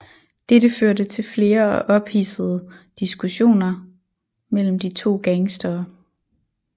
Dette førte til flere og ophidsede diskussioner mellem de to gangstere